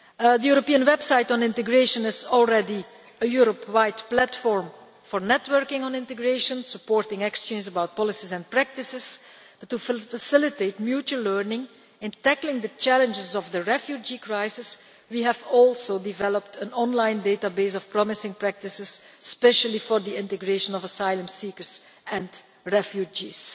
The European website on integration is already a Europe-wide platform for networking on integration, supporting exchanges about policies and practices, but to facilitate mutual learning in tackling the challenges of the refugee crisis we have also developed an online database of promising practices, especially for the integration of asylum seekers and refugees.